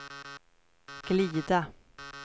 glida